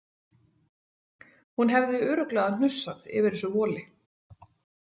Hún hefði örugglega hnussað yfir þessu voli.